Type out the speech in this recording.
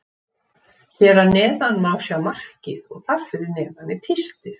Hér að neðan má sjá markið og þar fyrir neðan er tístið.